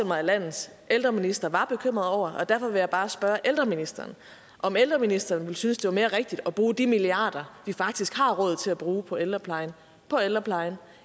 mig at landets ældreminister var bekymret over og derfor vil jeg bare spørge ældreministeren om ældreministeren ville synes det var mere rigtigt at bruge de milliarder vi faktisk har råd til at bruge på ældreplejen på ældreplejen